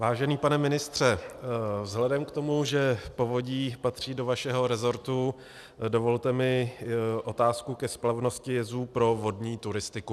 Vážený pane ministře, vzhledem k tomu, že povodí patří do vašeho resortu, dovolte mi otázku ke splavnosti jezů pro vodní turistiku.